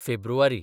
फेब्रुवारी